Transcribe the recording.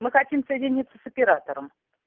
мы хотим соединиться с оператором